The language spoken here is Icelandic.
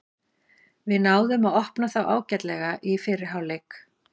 Við náðum að opna þá ágætlega í fyrri hálfleik.